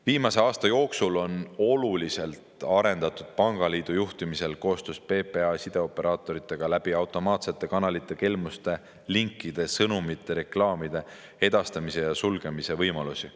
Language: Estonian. Viimase aasta jooksul on oluliselt arendatud pangaliidu juhtimisel koostöös PPA ja sideoperaatoritega automaatsete kanalite kaudu kelmustega seotud linkide, sõnumite, reklaamide edastamise sulgemise võimalusi.